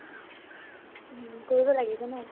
কৰিব লাগিব ন